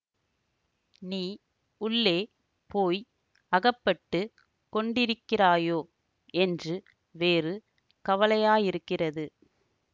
நீ உள்ளே போய் அகப்பட்டு கொண்டிருக்கிறாயோ என்று வேறு வலையாய்யிருக்கிறது